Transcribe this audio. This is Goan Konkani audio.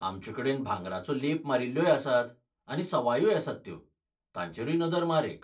आमचेकडेन भांगराचो लेप मारिल्ल्योय आसात, आनी सवायूय आसात त्यो, तांचेरूय नदर मार एक.